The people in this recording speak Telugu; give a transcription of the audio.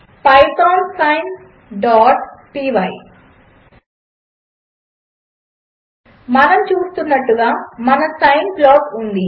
పైథాన్ sineపై మనము చూస్తున్నట్టుగా మన సైన్ ప్లాట్ ఉంది